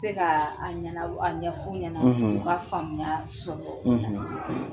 Se kaa a ɲana aɲɛ f'u ɲɛna u k'a faamuya soɔgɔ